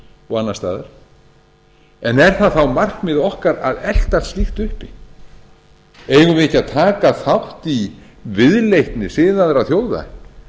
og annars staðar er það þá markmið okkar að elta slíkt uppi eigum við ekki að taka þátt í viðleitni siðaðra þjóða